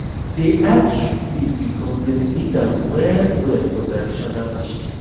dey add jute leaf because dem need am well well for traditional dishes